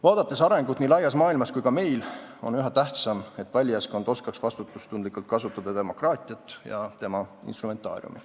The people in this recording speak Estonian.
Vaadates arengut nii laias maailmas kui ka meil, on üha tähtsam, et valijaskond oskaks vastutustundlikult kasutada demokraatiat ja tema instrumentaariumi.